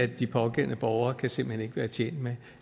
de pågældende borgere kan simpelt hen ikke være tjent med